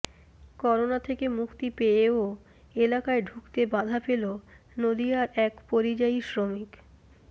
corona থেকে মুক্তি পেয়েও এলাকায় ঢুকতে বাধা পেল নদীয়ার এক পরিযায়ী শ্রমিক